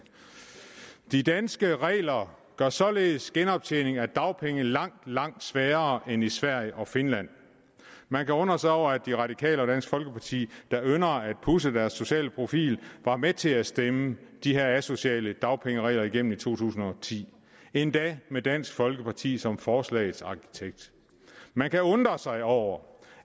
de danske regler gør således genoptjening af dagpengeret langt langt sværere end i sverige og finland man kan undre sig over at de radikale og dansk folkeparti der ynder at pudse deres sociale profil var med til at stemme de her asociale dagpengeregler igennem i to tusind og ti endda med dansk folkeparti som forslagets arkitekt man kan undre sig over